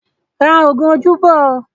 Ra oògùn ojú bọ̀ ó!